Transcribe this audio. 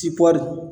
Tipɔri